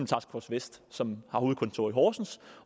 task force vest som har hovedkontor i horsens